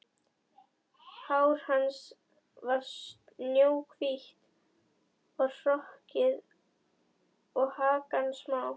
Hár hans var snjóhvítt og hrokkið og hakan smá.